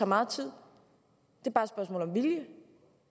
meget tid det